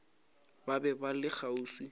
ba be ba le kgauswi